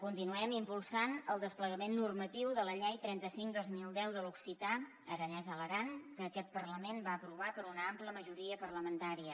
continuem impulsant el desplegament normatiu de la llei trenta cinc dos mil deu de l’occità aranès a l’aran que aquest parlament va aprovar per una ampla majoria parlamentària